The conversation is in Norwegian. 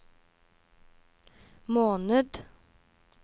måned